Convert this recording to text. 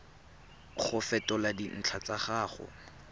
go fetola dintlha tsa gago